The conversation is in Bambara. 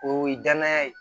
O ye danaya ye